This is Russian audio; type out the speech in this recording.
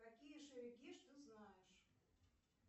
какие шерегеш ты знаешь